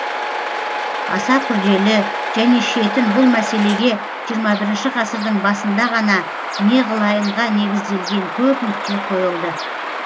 аса күрделі және шетін бұл мәселеге ххі ғасырдың басында ғана неғылайынға негізделген көп нүкте қойылды